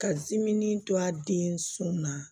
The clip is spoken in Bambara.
Ka dimin to a den sɔn na